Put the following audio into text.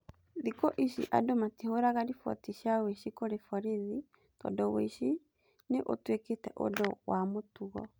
Thikũ ici andũ matihũraga riboti cia wĩici kũrĩ borithi tondũ wĩici ni ũtwĩkĩte ũndũ wa mũtugo.